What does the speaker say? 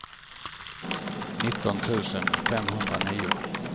nitton tusen femhundranio